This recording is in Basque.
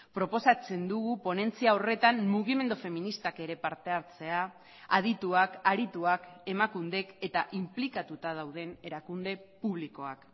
proposatzen dugu ponentzia horretan mugimendu feministak ere parte hartzea adituak arituak emakundek eta inplikatuta dauden erakunde publikoak